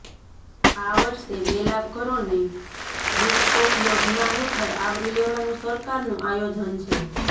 આ વર્ષે બે લાખ ઘરોને રૂફટોપ યોજના હેઠળ આવરી લેવાનું સરકારનું આયોજન છે